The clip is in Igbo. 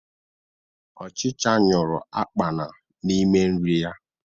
Ọchicha nyuru akpana n'ime nri ya